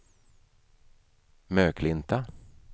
Möklinta